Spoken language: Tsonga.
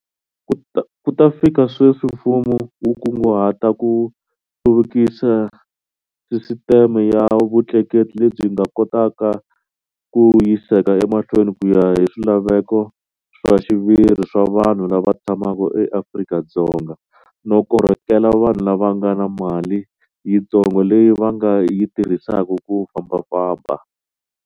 Ku ta fika sweswi, mfumo wu kunguhata ku hluvukisa sisiteme ya vutleketi lebyi nga kotaka ku yiseka emahlweni ku ya hi swilaveko swa xiviri swa vanhu lava tshamaka eAfrika-Dzonga no korhokela vanhu lava nga na mali yintsongo leyi va nga yi tirhisaka ku fambafamba.